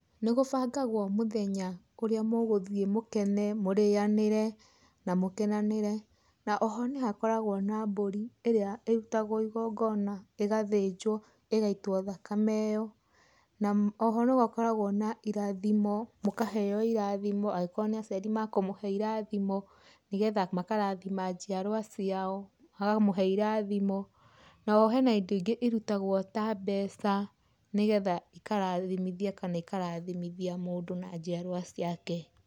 Nĩ gũbangagwo mũthenya ũrĩa mũgũthiĩ mũkene, mũrĩyanire na mũkenanire, na oho nĩ hakoragwo na mbũri ĩrĩa ĩrutagwo ĩgongona ĩgathinjwo ĩgaĩtwo thakame ĩyo. Na oho nĩ hakoragwo na irathimo, mũkaheo irathimo, angĩkorwo nĩ aciari makũmũhe irathimo, nĩgetha makarathima njiarwa ciao, makamũhe irathimo. Na oho hena indo ingĩ irutagwo ta mbeca, nĩgetha ikarathimithia kana ikarathimithia mũndũ na njiarwa ciake.